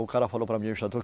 O cara falou para mim,